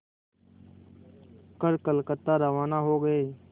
कर कलकत्ता रवाना हो गए